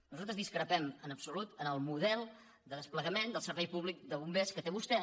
nosaltres discrepem absolutament en el model de desplegament del servei públic de bombers que té vostè